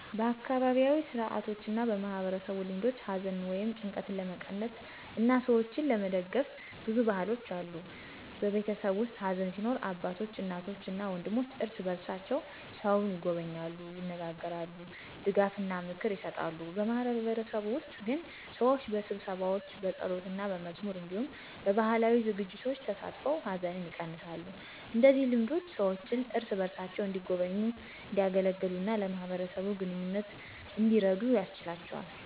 በአካባቢያዊ ሥርዓቶችና በማህበረሰብ ልማዶች ሐዘንን ወይም ጭንቀትን ለመቀነስ እና ሰዎችን ለመደግፍ ብዙ ባህሎች አሉ። በቤተሰብ ውስጥ ሐዘን ሲኖር አባቶች፣ እናቶች እና ወንድሞች እርስ በርሳቸው ሰውን ይጎበኛሉ፣ ይነጋገራሉ፣ ድጋፍና ምክር ይሰጣሉ። በማህበረሰብ ውስጥ ግን ሰዎች በስብሰባዎች፣ በጸሎትና በመዝሙር እንዲሁም በባህላዊ ዝግጅቶች ተሳትፈው ሐዘንን ይቀነሳሉ። እንደዚህ ልማዶች ሰዎችን እርስ በርሳቸው እንዲጎበኙ፣ እንዲያገለግሉ እና ለማህበረሰብ ግንኙነት እንዲረዱ ያስችላቸዋል።